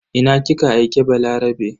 Ina kika aike Balarabe?